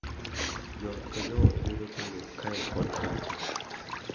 Jo ot ka joot yudo chandruok kae kod kacha,